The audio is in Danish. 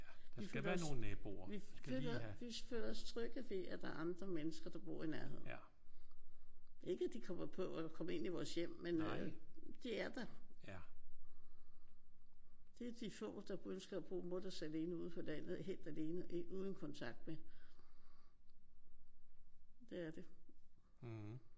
Vi føler os vi føler vi føler os trygge ved at der er andre mennesker der bor i nærheden. Ikke at de kommer på at de kommer ind i vores hjem. Men de er der. Det er de få der ønsker at bo mutters alene ude på landet helt alene uden kontakt med. Det er det